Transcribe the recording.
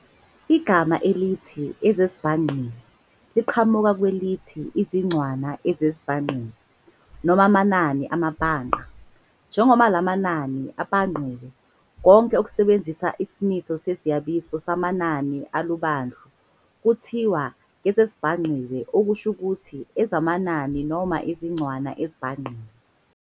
Igama elithi "ezeziBhangqiwe" liqhamuka kwelithi 'izincwana ezibhangqiwe' noma 'amanani amabhangqa', binary digits, njengoba lamanani abhangqiwe, konke okusebenzisa isimiso seziyabizo samanani alubandlu, kuthiwa ngezezibhangqiwe, okusho ukuthi ezamanani noma izincwana ezibhangqiwe.